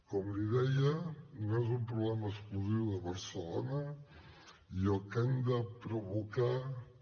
com li deia no és un problema exclusiu de barcelona i el que hem de provocar també